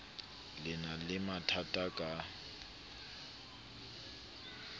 le na le mathatha ka